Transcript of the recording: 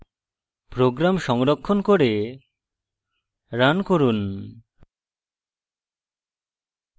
program সংরক্ষণ করে run run